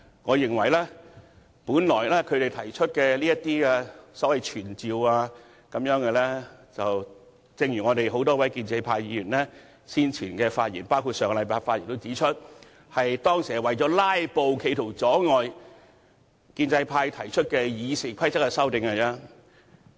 我認為他們現時提出的所謂傳召議案，正如多位建制派議員在先前和上周的發言指出，他們當時提出這些議案是為了"拉布"，企圖阻礙建制派提出《議事規則》的修訂。